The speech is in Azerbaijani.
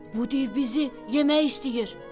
Bu div bizi yemək istəyir.